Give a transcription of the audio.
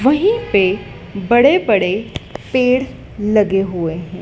वहीं पे बड़े बड़े पेड़ लगे हुए हैं।